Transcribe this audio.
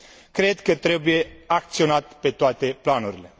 cred că trebuie acționat pe toate planurile.